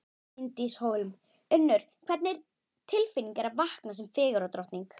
Bryndís Hólm: Unnur, hvernig tilfinning er að vakna sem fegurðardrottning?